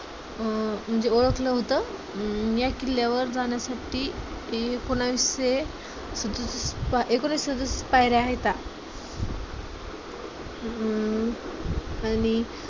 अं म्हणजे ओळखल होत. अं या किल्ल्यावर जाण्यासाठी एकोणविसशे सदु एकोणविसशे सदुसष्ट पायऱ्या आहेत. हम्म आणि